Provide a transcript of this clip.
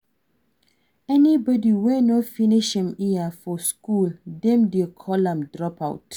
Anybody wey no finish im years for school dem de call am dropout